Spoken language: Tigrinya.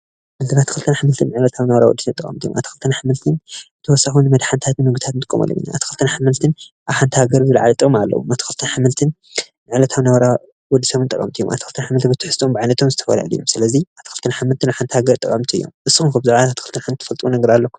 እዚ ኣትክልትን ኣሕምልትን ዕለታዊ ናብራ ወዲ ሰባት ጠቀምቲ ኣትክልትን ኣሕምልትን ተወሳኪ ንመድሓኒታትን ምግብታትን ንጥቀመሎም ኢና ኣትክልትን ኣሕምልትን ኣብ ሓንቲ ሃገር ዝልዓለ ጥቅሚ ኣለዎ ኣትክልትን ኣሕምልትን ዕለታዊ ናብራ ወዲ ሰብ ጠቀምቲ እዮም። ኣትክልትን ኣሕምልትን ብትሕዘትኦም ብዓይነቶም ዝተፈላለዩ እዮም ስለዚ ኣትክልትን ኣሕምልትን ንሓንቲ ሃገር ጠቀምቲ እዮም። ንሱም ከ ብዛዕባ ኣትክልትን ኣሕምልትን ትፈልጥዎ ኣለኩም ዶ?